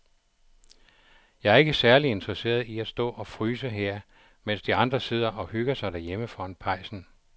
Jeg er ikke særlig interesseret i at stå og fryse her, mens de andre sidder og hygger sig derhjemme foran pejsen.